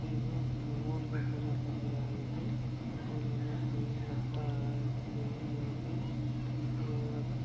यहां भगवान का पूजा करने आए हैंऔर यहाँ कोई लगता है कोई यहां पे आ--